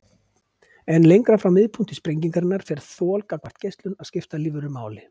En lengra frá miðpunkti sprengingarinnar fer þol gagnvart geislun að skipta lífverur máli.